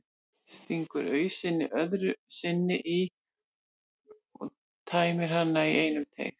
Stingur ausunni öðru sinni í og tæmir hana í einum teyg.